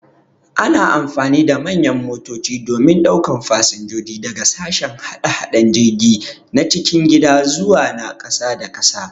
Ana amfani da manyan motoci domin daukan fasinjoji daga sashen hada-hadan jirgi na cikin gida zawa na kasa da kasa.